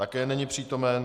Také není přítomen.